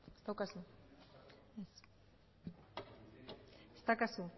ez daukazu